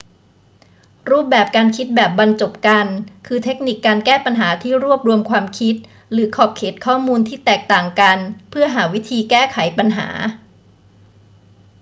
รูปแบบการคิดแบบบรรจบกัน คือเทคนิคการแก้ปัญหาที่รวบรวมความคิดหรือขอบเขตข้อมูลที่แตกต่างกันเพื่อหาวิธีแก้ไขปัญหา